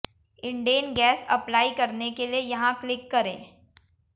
Indane gas apply करने के लिए यहां क्लिक करें